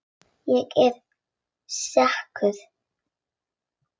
Ég er sekur.